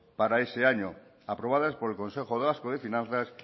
para ese año aprobadas por el consejo vasco de finanzas